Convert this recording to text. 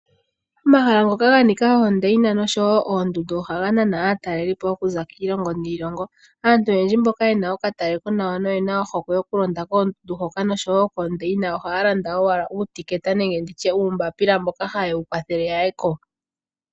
Omahala ngoka ga nika oondayina nosho wo oondundu ohaga nana aatalelipo okuza kiilongo niilongo, aantu oyendji mboka yena okatale konawa noyena ohokwe yoku londa koondundu hoka nosho wo koondayina ohaya landa owala uumbapila mboka haye wu kwathele ya yeko.